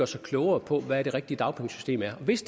sig klogere på hvad det rigtige dagpengesystem er hvis